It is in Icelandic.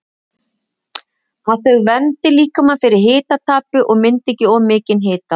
Að þau verndi líkamann fyrir hitatapi og myndi ekki of mikinn hita.